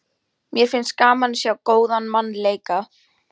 Mér finnst gaman að sjá góðan mann leika.